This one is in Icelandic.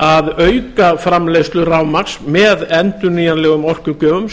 að auka framleiðslu rafmagns með endurnýjanlegum orkugjöfum